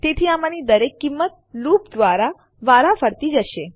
તેથી આમાંની દરેક કિંમત લૂપ દ્વારા વારાફરતી જશે